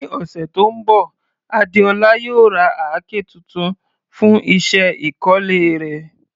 Ní ọ̀sẹ̀ tó ń bọ̀, Adeola yóò ra àáké tuntun fún iṣẹ́ ìkọ́lé rẹ̀.